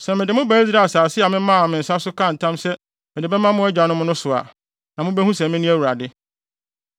Sɛ mede mo ba Israel asase a memaa me nsa so kaa ntam sɛ mede bɛma mo agyanom no so a, na mubehu sɛ mene Awurade.